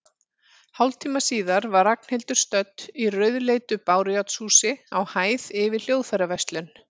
Hálftíma síðar var Ragnhildur stödd í rauðleitu bárujárnshúsi, á hæð yfir hljóðfæraverslun.